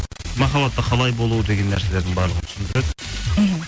махаббатта қалай болу деген нәрселердің барлығын түсіндіреді мхм